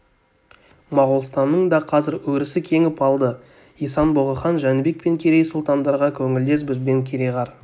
моғолстанның да қазір өрісі кеңіп алды исан бұғы хан жәнібек пен керей сұлтандарға көңілдес бізбен кереғар